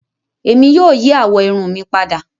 Ẹmi yóò yí àwọ irun mi pádà.